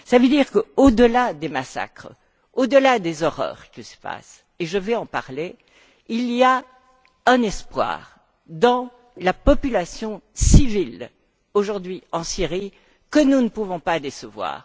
Cela veut dire qu'au delà des massacres, au delà des horreurs qui se passent je vais en parler il y a un espoir dans la population civile, aujourd'hui, en Syrie, que nous ne pouvons pas décevoir.